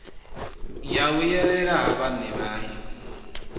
ya vhuyelela ha vhaṋe vhayo